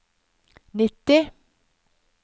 nitti